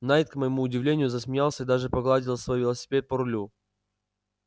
найд к моему удивлению засмеялся и даже погладил свой велосипед по рулю